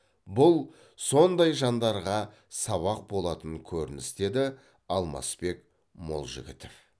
бұл сондай жандарға сабақ болатын көрініс деді алмасбек молжігітов